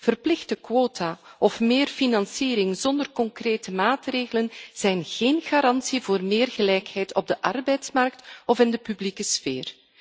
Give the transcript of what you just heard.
Verplichte quota of meer financiering zonder concrete maatregelen zijn geen garantie voor meer gelijkheid op de arbeidsmarkt of in de publieke sfeer.